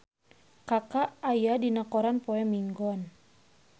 Kaka aya dina koran poe Minggon